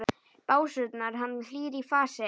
básúnar hann, hlýr í fasi.